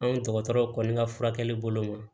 Anw dɔgɔtɔrɔ kɔni ka furakɛli bolo ma